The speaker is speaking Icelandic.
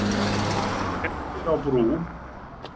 Skemmdir á brú